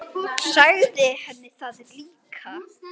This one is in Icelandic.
Sagði henni það líka.